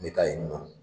N bɛ taa yen nɔ